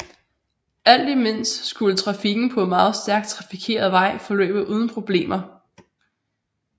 Alt imens skulle trafikken på den meget stærkt trafikerede vej forløbe uden problemer